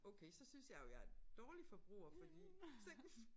Okay så synes jeg jo jeg en dårlig forbruger fordi så